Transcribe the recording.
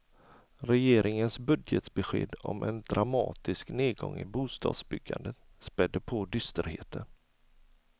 Regeringens budgetbesked om en dramatisk nedgång i bostadsbyggandet spädde på dysterheten.